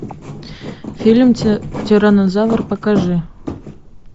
фильм тираннозавр покажи